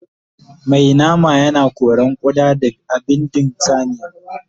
Mai nama yana koran ƙuda da bindin saniya